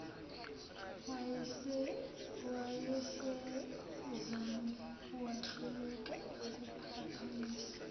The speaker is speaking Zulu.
wayesezame wahluleka ukuphaphamisa